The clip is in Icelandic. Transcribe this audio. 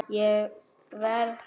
Ég verð hrædd.